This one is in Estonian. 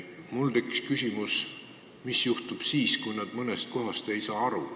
Mul tekkis aga küsimus, et mis juhtub siis, kui nad mõnest kohast aru ei saa.